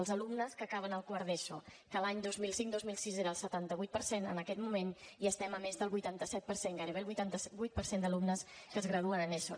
els alumnes que acaben el quart d’eso que l’any dos mil cinc dos mil sis era el setanta vuit per cent en aquest moment ja estem a més del vuitanta set per cent gairebé el vuitanta vuit per cent d’alumnes que es graduen en eso